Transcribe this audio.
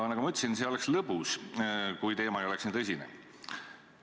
Nagu ma ütlesin, see oleks isegi lõbus, kui teema ei oleks nii tõsine.